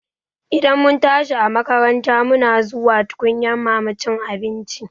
Idan mun tashi a makaranta muna zuwa tukunyan mama cin abinci